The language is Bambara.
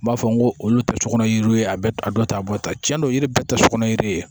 N b'a fɔ n ko olu tɛ sugunɛ yiri ye a bɛ a dɔ ta a bɔ tan tiɲɛ don yiri bɛɛ tɛ sokɔnɔ yiri ye